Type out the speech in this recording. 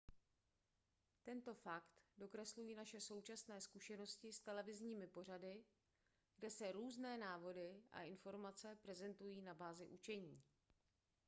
tento fakt dokreslují naše současné zkušenosti s televizními pořady kde se různé návody a informace prezentují na bázi učení